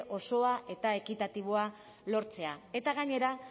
osoa eta ekitatiboa lortzea eta gainera